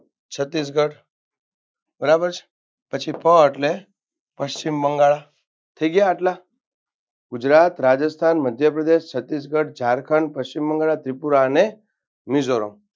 છત્તીસગઢ બરાબર છે પછી પ એટલે પશ્ચિમબંગાળ થઈ ગયા આટલા ગુજરાત, રાજસ્થાન, મધ્યપ્રદેશ, છત્તીસગઢ, ઝારખંડ, પશ્ચિમબંગાળા, ત્રિપુરા અને મિઝોરમ